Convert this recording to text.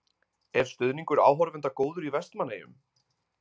Er stuðningur áhorfenda góður í Vestmannaeyjum?